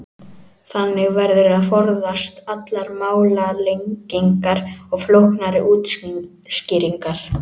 Þannig verður að forðast allar málalengingar og flóknari útskýringar.